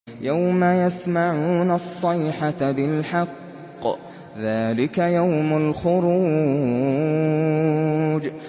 يَوْمَ يَسْمَعُونَ الصَّيْحَةَ بِالْحَقِّ ۚ ذَٰلِكَ يَوْمُ الْخُرُوجِ